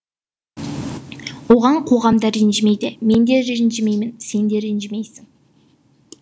оған қоғам да ренжімейді менде ренжімеймін сенде ренжімейсің